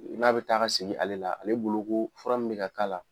N'a bi taa ka segin ale la ale bolo ko fura min be ka k'a la